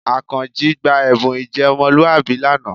Àkànjí gba ẹ̀bùn ìjẹ́ ọmọlúwàbí lánàá